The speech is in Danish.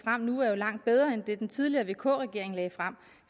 frem nu er langt bedre end det den tidligere vk regering lagde frem